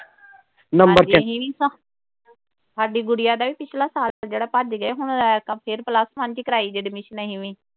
Number ਤੇ ਸਾਡੀ ਗੁੜੀਆ ਦਾ ਵੀ ਪਿਛਲਾ ਸਾਲ ਜਿਹੜਾ ਭੱਜ ਗਿਆ ਸੀ ਹੁਣ ਫਿਰ plus one ਚ ਈ ਕਰਾਈ ਜੇ admission ਅਸੀਂ ਵੀ।